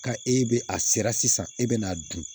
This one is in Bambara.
Ka e be a sera sisan e bɛna dun